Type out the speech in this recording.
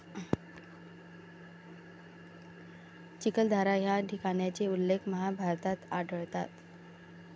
चिखलदरा या ठिकाणचे उल्लेख महाभारतात आढळतात.